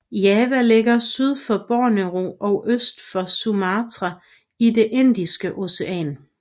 Java ligger syd for Borneo og øst for Sumatra i det Indiske Ocean